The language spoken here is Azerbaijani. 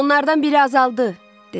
Onlardan biri azaldı, dedi.